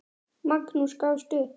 Magnús gafst upp.